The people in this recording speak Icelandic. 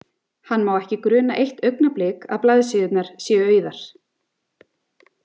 Hann má ekki gruna eitt augnablik að blaðsíðurnar séu auðar.